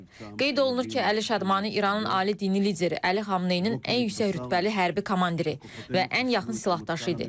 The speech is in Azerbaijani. Qeyd olunur ki, Əli Şadmani İranın ali dini lideri Əli Xamneynin ən yüksək rütbəli hərbi komandiri və ən yaxın silahdaşı idi.